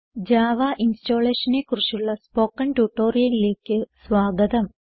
Java Installationനെ കുറിച്ചുള്ള spoken ട്യൂട്ടോറിയലിലേക്ക് സ്വാഗതം